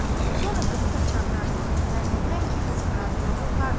Sonra qızı da çağırarsınız, zənn edirəm ki, qızın razılığı vardır.